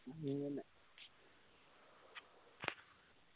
അങ്ങനെ